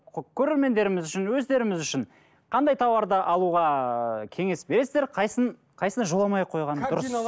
көрермендеріміз үшін өздеріміз үшін қандай тауарды алуға кеңес бересіздер қайсысын қайысына жолмай ақ қойған дұрыс